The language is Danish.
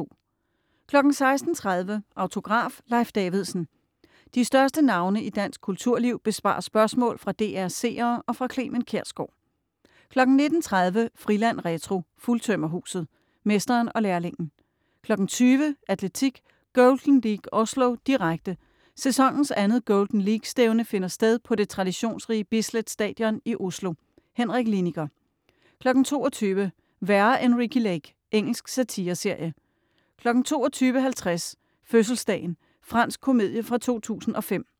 16.30 Autograf: Leif Davidsen. De største navne i dansk kulturliv besvarer spørgsmål fra DR's seere og fra Clement Kjersgaard 19.30 Friland retro - Fuldtømmerhuset. - mesteren og lærlingen 20.00 Atletik: Golden League Oslo, direkte, Sæsonens andet Golden League-stævne finder sted på det traditionsrige Bislett Stadion i Oslo, Henrik Liniger 22.00 Værre end Ricki Lake. Engelsk satireserie 22.50 Fødselsdagen. Fransk komedie fra 2005